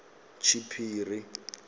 tshiphiri